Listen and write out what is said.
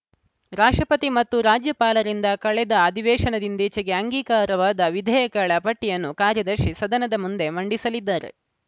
ರಾಷ್ಟ್ರಪತಿ ಮತ್ತು ರಾಜ್ಯಪಾಲರಿಂದ ಕಳೆದ ಅಧಿವೇಶನದಿಂದೀಚೆಗೆ ಅಂಗೀಕಾರವಾದ ವಿಧೇಯಕಗಳ ಪಟ್ಟಿಯನ್ನು ಕಾರ್ಯದರ್ಶಿ ಸದನದ ಮುಂದೆ ಮಂಡಿಸಲಿದ್ದಾರೆ